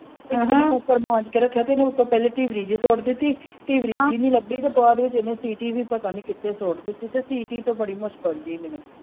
Cooker ਮਾਂਜ ਕੇ ਰੱਖਿਆ ਤੇ ਇਹਨੇ ਪਹਿਲਾਂ ਉਪਰੋਂ ਟਿਬਰੀ ਜਿਹੀ ਸੁੱਟ ਦਿਤੀ। ਟਿਬ ਰੀ ਜਿਹੀ ਨਹੀਂ ਲੱਭੀ ਤੇ ਬਾਅਦ ਵਿਚ ਇਹਨੇ ਸੀਟੀ ਵੀ ਪਤਾ ਨਹੀਂ ਕਿਥੇ ਸੁੱਟ ਦਿਤੀ ਤੇ ਸੀਟੀ ਤੇ ਬੜੀ ਮੁਸ਼ਕਿਲ ਜਿਹੀ ਮਿਲੀ ।